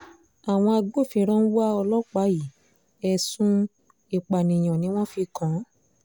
àwọn agbófinró ń wá ọlọ́pàá yìí ẹ̀sùn ìpànìyàn ni wọ́n fi kàn án